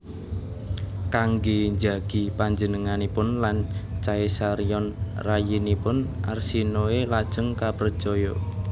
Kanggé njagi panjenenganipun lan Caesarion rayinipun Arsinoe lajeng kaprejaya